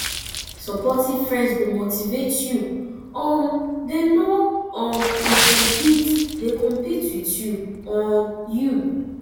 supportive friends go motivate you um dem no um dey compete dey compete with um you